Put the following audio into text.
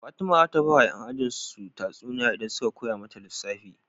Fatima zata bawa yan ajin su tatsuniya idan suka koya mata lissafi